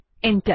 enter